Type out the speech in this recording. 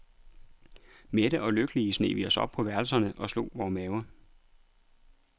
Mætte og lykkelige sneg vi os op på værelserne og slog vore maver.